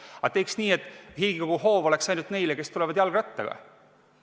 Aga teeks nii, et Riigikogu hoov oleks ainult neile, kes tulevad jalgrattaga.